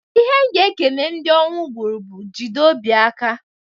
Ihe m ga-ekene ndị ọnwụ gbuuru bu, "Jide obi aka!"